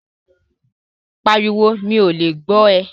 Pàríwọ̀, mi o lè gbọ̀ rẹ̀!